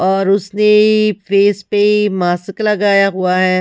और उसने फेस पे मासक लगाया हुआ है।